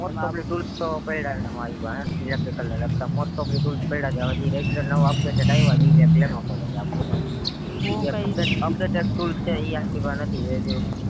most of tools તો પડ્યા છે મારી પાહે electrical ને લગતા most of tools પડ્યા છે આમાંથી regular નવા regular regular આવ્યા છે ઈ લેવા પડે આપડી પાહે કદાચ updated tools છે ઈ આપડે પાહે નથી એ જો